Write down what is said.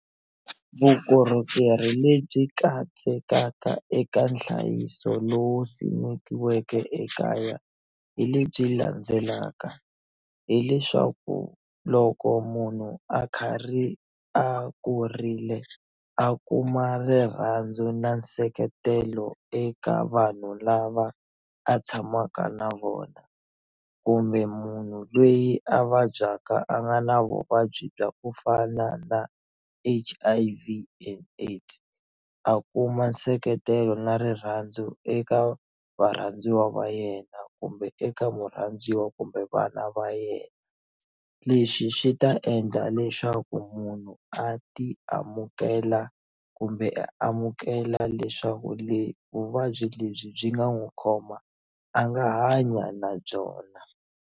Vukorhokeri lebyi katsekaka eka nhlayiso lowu simekiweke ekaya hi lebyi landzelaka hileswaku loko munhu a karhi a kurile a kuma rirhandzu na nseketelo eka vanhu lava a tshamaka na vona kumbe munhu loyi a vabyaka a nga na vuvabyi bya ku fana na H_I_V and AIDS a kuma nseketelo na rirhandzu eka varhandziwa va yena kumbe eka murhandziwa kumbe vana va yena lexi xi ta endla leswaku munhu a ti amukela kumbe a amukela leswaku vuvabyi lebyi byi nga n'wu khoma a nga hanya na byona.